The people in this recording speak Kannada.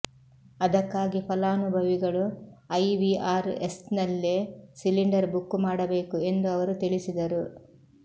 ಅದಕ್ಕಾಗಿ ಫಲಾನುಭವಿಗಳು ಐವಿಆರ್ಎಸ್ನಲ್ಲೇ ಸಿಲಿಂಡರ್ ಬುಕ್ ಮಾಡಬೇಕು ಎಂದು ಅವರು ತಿಳಿಸಿದರು